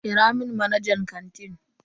Kira mun manajan kantin.